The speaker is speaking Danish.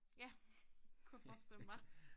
Ja kunne jeg forestille mig